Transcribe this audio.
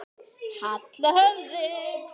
Halla höfði.